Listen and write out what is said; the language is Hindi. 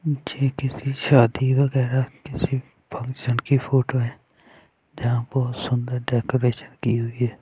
ये किसी शादी वगैराह किसी फंक्शन की फोटो है जहाँ बहोत सुंदर डेकोरेशन की हुई है।